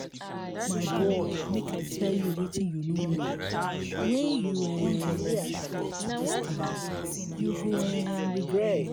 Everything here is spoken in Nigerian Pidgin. my boy make i tell you wetin you no know. wen you um dey addicted to dis thing you go um regret.